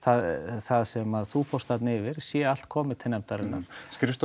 það sem þú fórst yfir sé allt komið til nefndarinnar skrifstofa